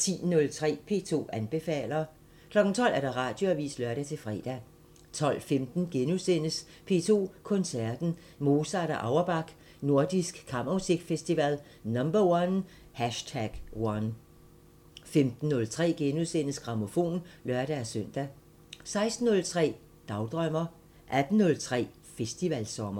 10:03: P2 anbefaler 12:00: Radioavisen (lør-fre) 12:15: P2 Koncerten Mozart og Auerbach – Nordisk Kammermusikfestival #1 * 15:03: Grammofon *(lør-søn) 16:03: Dagdrømmer 18:03: Festivalsommer